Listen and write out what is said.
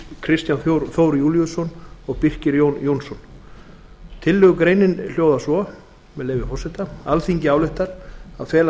kristján þór júlíusson og birkir jón jónsson tillögugreinin hljóðar svo með leyfi forseta alþingi ályktar að fela